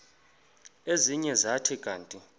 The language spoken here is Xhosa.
ezinye zathi kanti